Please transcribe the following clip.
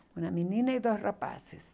Uma menina e dois rapazes.